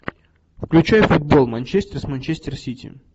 включай футбол манчестер с манчестер сити